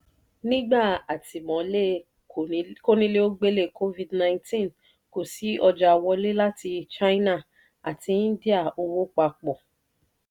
nígbà àtìmọ́lé kónílé-ó-gbélé covid-nineteen kò sí ọjà wọlé láti china àti india owó pa pọ̀.